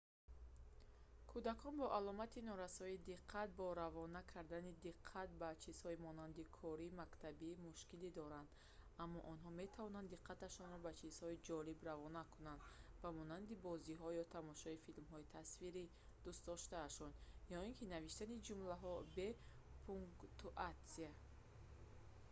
кӯдакон бо аломати норасоии диққат бо равона кардани диққат ба чизҳои монанди кори мактабӣ мушкилӣ доранд аммо онҳо метавонанд диққаташонро ба ҷизҳои ҷолиб равона кунанд ба монанди бозиҳо ё тамошои филмҳои тасвирии дӯстдостаашон ё ки навиштани ҷумлаҳо бе пунктуатсия